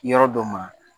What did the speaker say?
Yɔrɔ dɔ ma